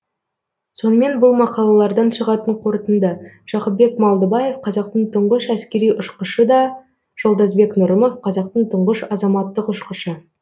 сонымен бұл мақалалардан шығатын қорытынды жақыпбек малдыбаев қазақтың тұңғыш әскери ұшқышы да жолдасбек нұрымов қазақтың тұңғыш азаматтық ұшқышы